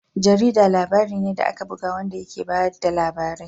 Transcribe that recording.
Jarida labari ne da aka buga wanda ke ba da labarai.